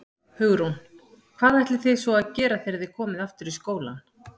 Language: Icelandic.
Hugrún: Hvað ætlið þið að svo að gera þegar þið komið aftur í skólann?